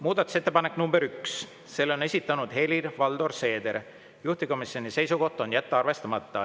Muudatusettepanek nr 1: selle on esitanud Helir-Valdor Seeder ja juhtivkomisjoni seisukoht on see jätta arvestamata.